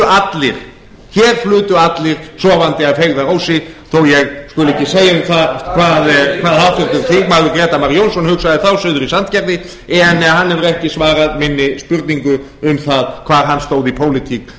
núna hér flutu allir sofandi að feigðarósi þó ég skuli ekki segja um það hvað háttvirtur þingmaður grétar mar jónsson hugsaði þá suður í sandgerði en hann hefur ekki svarað minni spurningu um það hvar hann stóð í pólitík